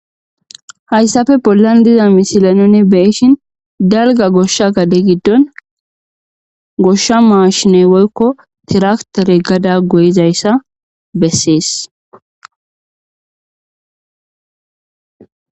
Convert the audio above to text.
Hayssafe pollan diza misile nu beyishin beyshin dalga goshsha gade giddon goshsha maashiney woykko tiraktore gada goyizayssa bessees.